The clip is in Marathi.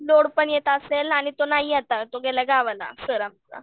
लोड पण येत असेल आणि तो नाही आता तो गेला गावाला सर आमचा.